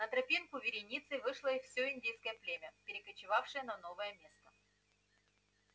на тропинку вереницей вышло всё индейское племя перекочёвывавшее на новое место